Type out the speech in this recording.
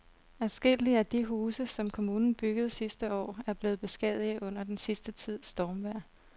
Adskillige af de huse, som kommunen byggede sidste år, er blevet beskadiget under den sidste tids stormvejr.